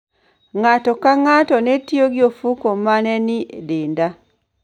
Ng'ato ka ng'ato ne tiyo gi ofuko ma ne nie denda